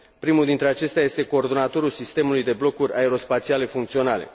Primul dintre acestea este coordonatorul sistemului de blocuri aero spațiale funcționale.